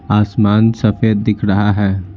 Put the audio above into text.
आसमान सफेद दिख रहा है।